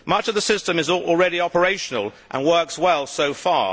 Much of the system is already operational and works well so far.